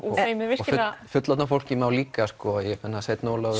virkilega fullorðna fólkið má líka Sveinn Ólafur